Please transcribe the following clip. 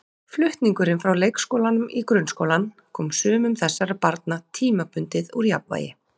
Flutningurinn frá leikskólanum í grunnskólann kom sumum þessara barna tímabundið úr jafnvægi.